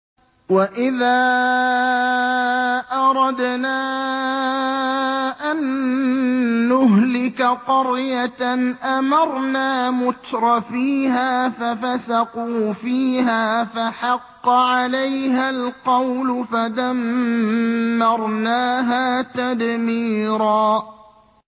وَإِذَا أَرَدْنَا أَن نُّهْلِكَ قَرْيَةً أَمَرْنَا مُتْرَفِيهَا فَفَسَقُوا فِيهَا فَحَقَّ عَلَيْهَا الْقَوْلُ فَدَمَّرْنَاهَا تَدْمِيرًا